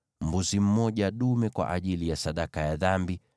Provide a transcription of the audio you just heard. mbuzi dume mmoja kwa ajili ya sadaka ya dhambi;